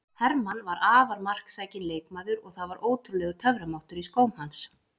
Hermann var afar marksækinn leikmaður og það var ótrúlegur töframáttur í skóm hans.